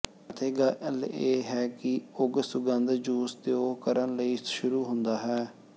ਅਤੇ ਗੱਲ ਇਹ ਹੈ ਕਿ ਉਗ ਸੁਗੰਧ ਜੂਸ ਦਿਉ ਕਰਨ ਲਈ ਸ਼ੁਰੂ ਹੁੰਦਾ ਹੈ